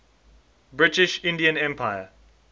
british indian empire